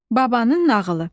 Babanın nağılı.